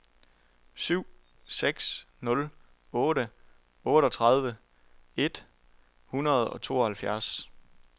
syv seks nul otte otteogtredive et hundrede og tooghalvfjerds